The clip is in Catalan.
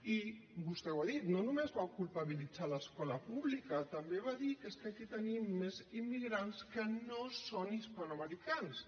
i vostè ho ha dit no només va culpabilitzar l’escola pública també va dir que és que aquí tenim més immigrants que no són hispanoamericans